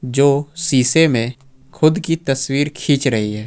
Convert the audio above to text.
जो शीशे में खुद की तस्वीर खींच रही है।